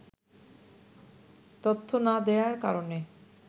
তথ্য না দেয়ার কারণে